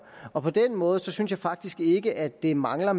og på den måde synes jeg faktisk ikke at der mangler